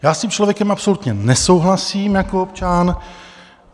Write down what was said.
Já s tím člověkem absolutně nesouhlasím jako občan.